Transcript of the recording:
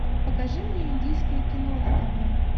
покажи мне индийское кино на тв